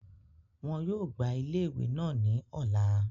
Wọ́n yóò gbá ile iwe naa ní ọ̀la